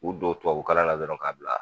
k'u don tubabu kalan na dɔrɔn k'a bila